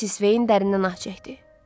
Missis Sveyin dərindən ah çəkdi.